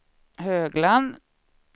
Högland